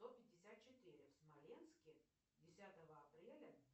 сто пятьдесят четыре в смоленске десятого апреля